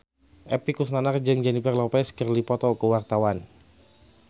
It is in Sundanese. Epy Kusnandar jeung Jennifer Lopez keur dipoto ku wartawan